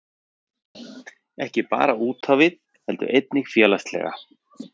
Ekki bara útávið heldur einnig félagslega